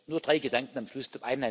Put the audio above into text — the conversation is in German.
Nur drei Gedanken am Schluss.